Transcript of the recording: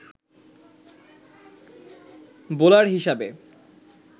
bowler হিসাবে